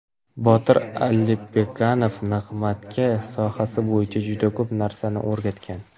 Botir Allberganov Nig‘matga sohasi bo‘yicha juda ko‘p narsani o‘rgatgan.